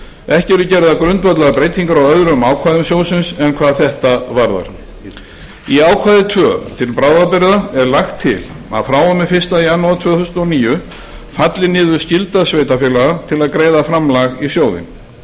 ekki eru gerðar grundvallarbreytingar á öðrum ákvæðum sjóðsins en hvað þetta varðar í ákvæði tvö til bráðabirgða er lagt til að frá og með fyrsta janúar tvö þúsund og níu falli niður skylda sveitarfélaga til að greiða framlag í sjóðinn